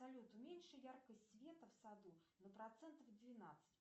салют уменьши яркость света в саду на процентов двенадцать